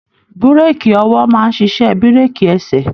Bureki ọwọ máa n ṣiṣẹ bireki ẹsẹ.